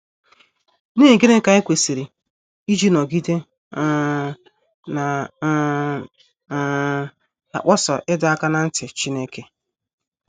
N’ihi gịnị ka anyị kwesịrị iji nọgide um na um - um akpọsa ịdọ aka ná ntị Chineke?